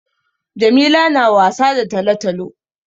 Jamila na wasa da talo-talo.